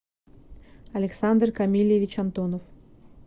александр камильевич антонов